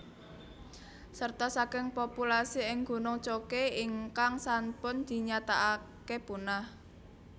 Serta saking populasi ing gunung Choke ingkang sanpun dinyataake punah